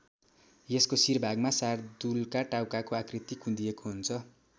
यसको शिर भागमा शार्दूलका टाउकाको आकृति कुँदिएको हुन्छ।